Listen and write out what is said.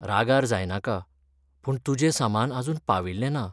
रागार जायनाका, पूण तुजें सामान आजून पाविल्लें ना.